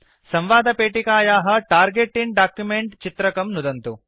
संवादपेटिकायाः target in document चित्रकं नुदन्तु